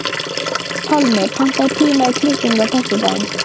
Pálmi, pantaðu tíma í klippingu á föstudaginn.